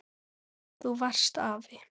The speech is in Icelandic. Þú varst afi.